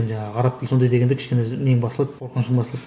жаңағы араб тілі сондай дегенде кішкене нең басылады қорқынышың басылады